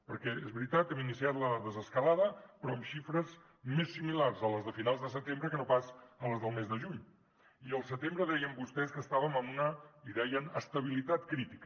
perquè és veritat que hem iniciat la desescalada però amb xifres més similars a les de finals de setembre que no pas a les del mes de juny i al setembre deien vostès que estàvem en una en deien estabilitat crítica